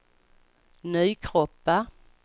Nykroppa